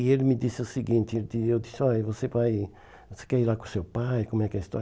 E ele me disse o seguinte, eu disse, ó, você vai, você quer ir lá com o seu pai, como é que é a história?